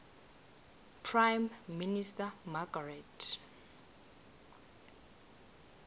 prime minister margaret